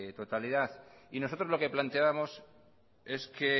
totalidad y nosotros lo que planteábamos es que